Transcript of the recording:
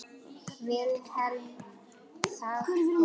Vilhelm þagði.